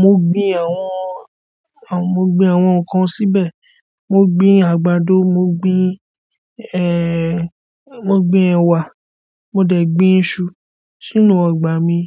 mo gbin àwọn, mo gbin àwọn nǹkan síbẹ̀. Mo gbin àgbàdo, mo gbin ẹ̀wà, mo dẹ̀ gbin iṣu sínú ọgbà mi.